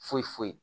Foyi foyi